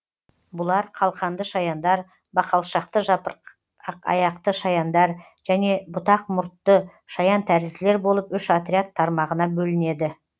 бұлар қалқанды шаяндар бақалшақты жапырақаяқты шаяндар және бұтақмұртты шаянтәрізділер болып үш отряд тармағына бөлінеді